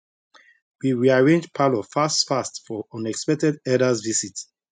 we rearrange parlour fast fast for unexpected elders visit